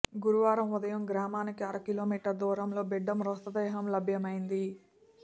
గురువారం ఉదయం గ్రామానికి అర కిలోమీటర్ దూరంలో బిడ్డ మృతదేహం లభ్యమైంది